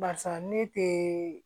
Barisa ne te